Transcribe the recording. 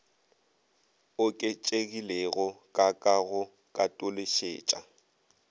oketšegilego ka ka go katološetša